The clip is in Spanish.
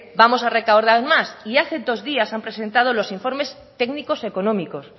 vamos a recaudar más y hace dos días han presentado los informes técnicos económicos